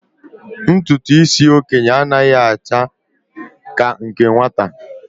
Ntụtụ isi okenye a naghị acha ka nke nwata.